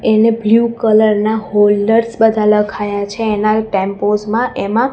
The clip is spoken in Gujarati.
એને બ્લુ કલર ના હોલ્ડર્સ બધા લખાયા છે એના ટેમ્પોસ માં એમાં--